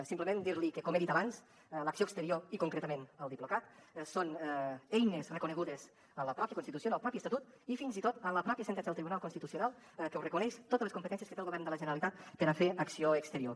simplement dir li que com he dit abans l’acció exterior i concretament el diplocat són eines reconegudes en la mateixa constitució en el mateix estatut i fins i tot en la mateixa sentència del tribunal constitucional que reconeix totes les competències que té el govern de la generalitat per a fer acció exterior